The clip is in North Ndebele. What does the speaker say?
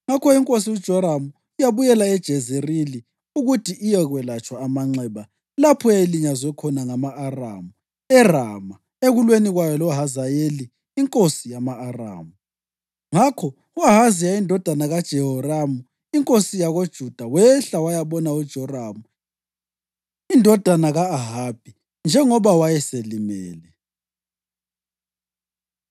ngakho inkosi uJoramu yabuyela eJezerili ukuthi iyekwelatshwa amanxeba lapho eyayilinyazwe khona ngama-Aramu eRama ekulweni kwayo loHazayeli inkosi yama-Aramu. Ngakho u-Ahaziya indodana kaJehoramu inkosi yakoJuda wehla wayabona uJoramu indodana ka-Ahabi, njengoba wayeselimele.